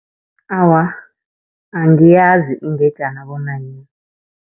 Awa, angiyazi ingejana bona yini.